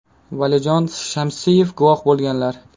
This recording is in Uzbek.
Valijon Shamsiyev guvoh bo‘lganlar.